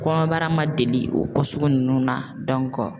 Kɔnɔbara ma deli o kɔ sugu nunnu na